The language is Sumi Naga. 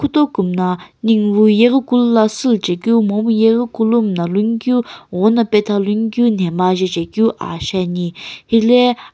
tu kumna nighuvii yeri Kulu la shiilu jae keu momu yaghi kulo miilani keu ghono patha lun keu memgha jaejae keu ah ahae ane helae.